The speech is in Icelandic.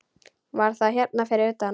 Var það hérna fyrir utan?